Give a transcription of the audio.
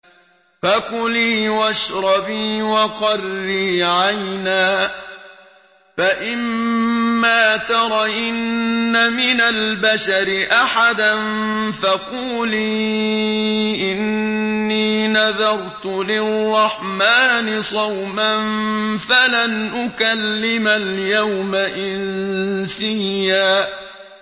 فَكُلِي وَاشْرَبِي وَقَرِّي عَيْنًا ۖ فَإِمَّا تَرَيِنَّ مِنَ الْبَشَرِ أَحَدًا فَقُولِي إِنِّي نَذَرْتُ لِلرَّحْمَٰنِ صَوْمًا فَلَنْ أُكَلِّمَ الْيَوْمَ إِنسِيًّا